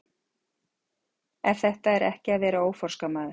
Ef þetta er ekki að vera óforskammaður!!